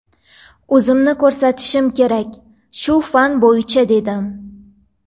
O‘zimni ko‘rsatishim kerak shu fan bo‘yicha dedim.